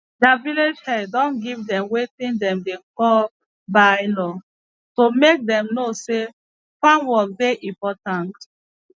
deir village head don give dem wetin dem dey call bye law to make dem know say farm work dey important